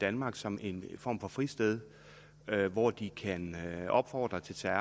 danmark som en form for fristed hvor de kan opfordre til terror